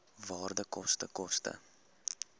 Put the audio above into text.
waarde koste koste